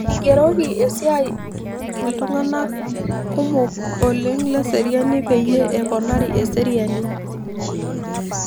Eigeroki esiai iltung'anak kumok oleng' le eseriani peyie eponari eseriani